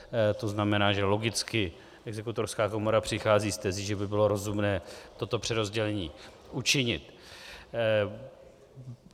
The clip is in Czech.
To znamená, že logicky Exekutorská komora přichází s tezí, že by bylo rozumné toto přerozdělení učinit.